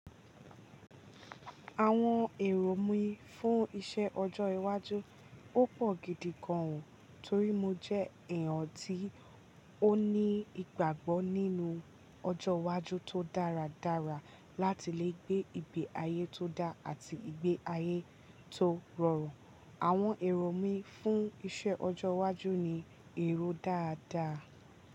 Àwọn èrò mí fún iṣẹ ọjọ́ iwájú ó pọ̀ gidi gan ó torí mo jẹ́ èèyàn tí ó ní ìgbàgbọ́ nínú ọjọ́ iwájú tó dáradára láti lè gbé ìgbé ayé tó dá àti ìgbé ayé tó rọrùn. Àwọn èrò mí fún iṣẹ́ ọjọ́ iwájú ni èrò dáadáa.